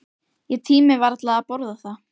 Ég tími varla að borða það.